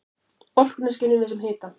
Orkuna skynjum við sem hita.